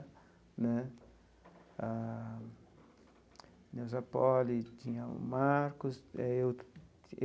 Né a Neusa Poli tinha o Marcos e aí outro.